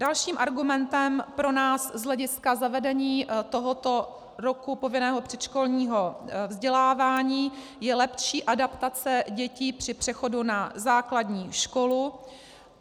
Dalším argumentem pro nás z hlediska zavedení tohoto roku povinného předškolního vzdělávání je lepší adaptace dětí při přechodu na základní školu.